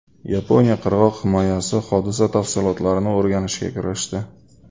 Yaponiya qirg‘oq himoyasi hodisa tafsilotlarini o‘rganishga kirishdi.